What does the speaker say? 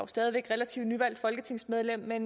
stadig relativt nyvalgt folketingsmedlem at